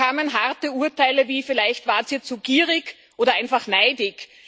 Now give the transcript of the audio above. Da kamen harte Urteile wie Vielleicht wart ihr zu gierig oder einfach neidisch.